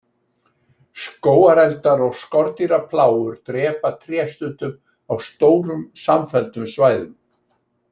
Skógareldar og skordýraplágur drepa tré, stundum á stórum samfelldum svæðum.